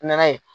N nana ye